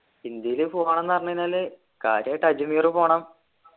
ഇന്ത്യയില് പോണംന്ന് പറഞ്ഞു കഴിഞ്ഞാല് കാര്യായിട്ട് അജ്മീർ പോണം